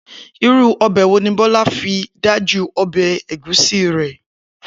Irú è̩fó̩ wo ni Bó̩lá fi dájú o̩bè̩ ègúsí rè̩?